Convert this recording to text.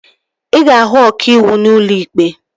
Ị ga-ahụ ọkàiwu n'ụlọ ikpe